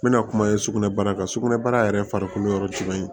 N bɛna kuma ye sugunɛbara kan sugunɛbara yɛrɛ farikolo yɔrɔ jumɛn ye